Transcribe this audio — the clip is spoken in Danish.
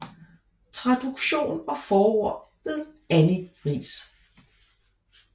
Traduction og forord ved Annie Riis